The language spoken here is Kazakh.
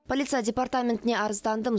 полиция департаментіне арыздандым